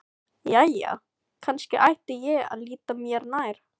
Jæja, kannski ætti ég að líta mér nær.